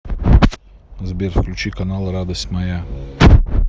сбер включи канал радость моя